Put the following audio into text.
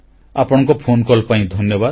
ଆପଣଙ୍କ ଫୋନକଲ୍ ପାଇଁ ଧନ୍ୟବାଦ